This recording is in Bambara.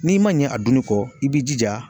N'i ma ɲɛ a dunni kɔ i b'i jija